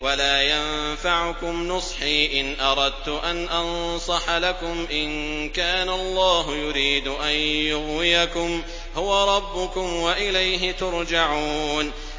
وَلَا يَنفَعُكُمْ نُصْحِي إِنْ أَرَدتُّ أَنْ أَنصَحَ لَكُمْ إِن كَانَ اللَّهُ يُرِيدُ أَن يُغْوِيَكُمْ ۚ هُوَ رَبُّكُمْ وَإِلَيْهِ تُرْجَعُونَ